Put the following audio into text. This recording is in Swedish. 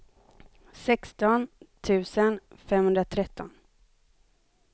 sexton tusen femhundratretton